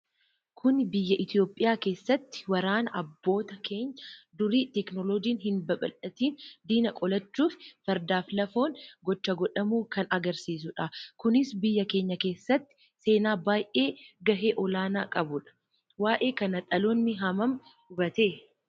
Kun biyya itiyoophiyaa keessatti waraana abboota keeenya durii teknoolojin hin babaldhatin diina qolachuuf fardaaf lafoon gocha godhamu kan agarsiisudha. Kunis biyya keenya keessatti seenaa baay'e gahee olaanaa qabudha. Waa'ee kana dhaloonni hammam hubate?